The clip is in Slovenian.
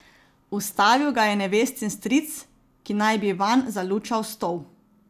Ustavil ga je nevestin stric, ki naj bi vanj zalučal stol.